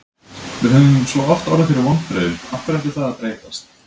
Við höfum svo oft orðið fyrir vonbrigðum, af hverju ætti það að breytast?